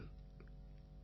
இது உண்மை தான்